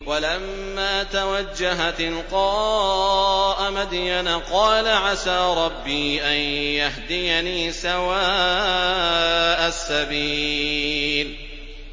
وَلَمَّا تَوَجَّهَ تِلْقَاءَ مَدْيَنَ قَالَ عَسَىٰ رَبِّي أَن يَهْدِيَنِي سَوَاءَ السَّبِيلِ